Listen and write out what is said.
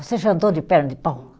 Você já andou de perna de pau?